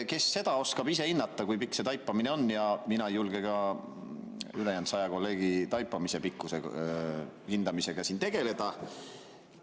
Kes seda oskab hinnata, kui pikk see taipamine on, ja mina ei julge ka ülejäänud saja kolleegi taipamise pikkuse hindamisega siin tegeleda.